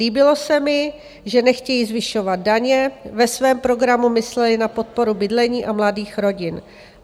Líbilo se mi, že nechtějí zvyšovat daně, ve svém programu mysleli na podporu bydlení a mladých rodin.